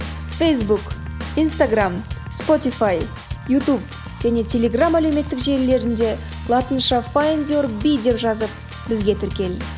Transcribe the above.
фейсбук инстаграмм спотифай ютуб және телеграмм әлеуметтік желілерінде латынша файндюрби деп жазып бізге тіркел